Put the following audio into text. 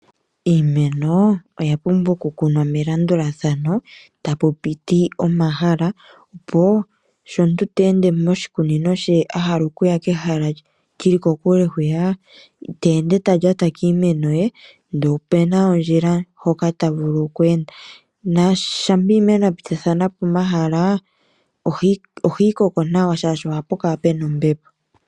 Iimeno oya pumbwa okukunwa melandulathano, ta pu piti omahala, opo sho omuntu te ende moshikunino she ahala okuya kehala li li kokule hwiya, ita ende ta lyata kiimeno ye ndele ope na ondjila mpoka ta vulu kweenda, na shampa iimeno ya pitithathana po omahala, ohayi koko nawa shaashi oha pu kala pe na ombepo.